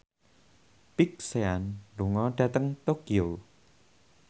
Big Sean lunga dhateng Tokyo